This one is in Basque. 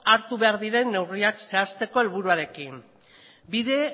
hartu behar diren neurriak zehazteko helburuarekin bide